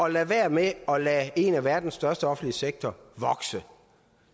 at lade være med at lade en af verdens største offentlige sektorer vokse